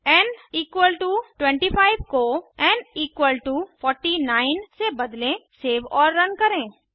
N 25 को N 49 से बदलें सेव और रन करें